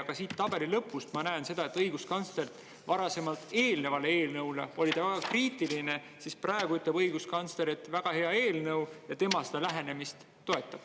Ka siit tabeli lõpust ma näen seda, et õiguskantsler varasemalt eelnevale eelnõule oli väga kriitiline, siis praegu ütleb õiguskantsler, et väga hea eelnõu ja tema seda lähenemist toetab.